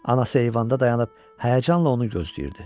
Anası eyvanda dayanıb həyəcanla onu gözləyirdi.